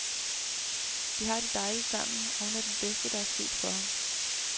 De har det dejligt sammen, og hun er det bedste, der er sket for ham.